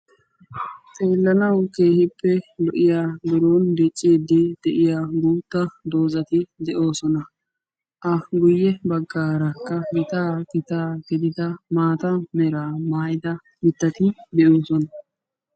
Xeelanaw keehippe lo'iya guutta dozati de'oosona. ha guye bagaara maata mera mitatti de'oosona.